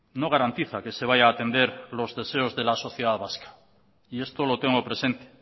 no garantiza que se vaya a atender los deseos de la sociedad vasca y esto lo tengo presente